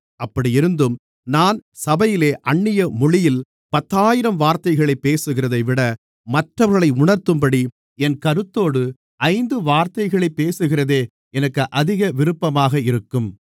அப்படியிருந்தும் நான் சபையிலே அந்நிய மொழியில் பத்தாயிரம் வார்த்தைகளைப் பேசுகிறதைவிட மற்றவர்களை உணர்த்தும்படி என் கருத்தோடு ஐந்து வார்த்தைகளைப் பேசுகிறதே எனக்கு அதிக விருப்பமாக இருக்கும்